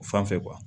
O fan fɛ